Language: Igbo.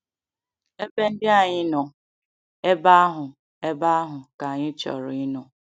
Ebe ndị anyị nọ, ebe ahụ ebe ahụ ka anyị chọrọ ịnọ.